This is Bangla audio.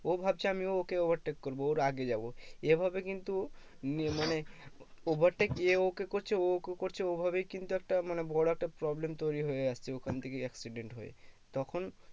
ও ভাবছে আমিও ওকে overtake করবো ওর আগে যাবো এভাবে কিন্তু নিয়ে মানে overtake এ ওকে করছে ও ওকে করছে ওইভাবেই কিন্তু একটা মানে বড়ো একটা problem তৈরী হয়ে আসছে ওইখান থেকে accident হয়ে তখন